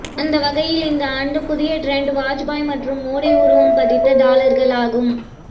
அந்த வகையில் இந்த ஆண்டு புதிய டிரெண்ட் வாஜ்பாய் மற்றும் மோடி உருவம் பதித்த டாலர்கள் ஆகும்